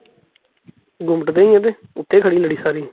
ਗੁੱਮਟ ਦੇ ਅੱਗੇ, ਉੱਤੇ ਖੜੀ ਲੜੀ ਸਾਰੀ